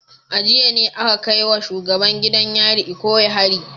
A jiya ne aka kai wa shugaban gidan yarin Ikoyi hari